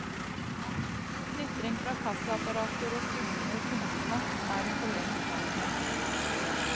Knitring fra kassaapparater og summende kundesnakk er hun forlengst vant med.